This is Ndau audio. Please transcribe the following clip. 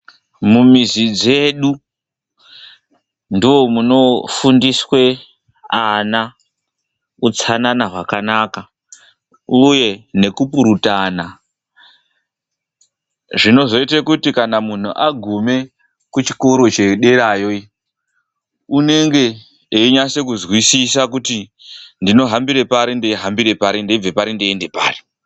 Mumizi dzedu ndoomunofundiswe ana utsanana hwakanaka, uye nekupurutana. Zvinozoite kuti kana munhu agume kuchikoro chederayo iyo, unenge einyase kuzwisisa kuti ndinohambire pari, ndeihambire pari; ndeibve pari ndeiende pari.